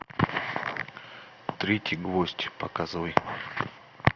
третий гвоздь показывай